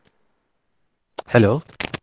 Hello.